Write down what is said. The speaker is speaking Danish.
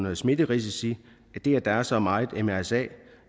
om smitterisici det at der er så meget mrsa